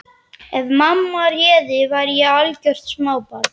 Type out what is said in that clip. Ef mamma réði væri ég algjört smábarn.